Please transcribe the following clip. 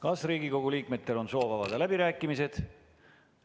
Kas Riigikogu liikmetel on soovi avada läbirääkimised?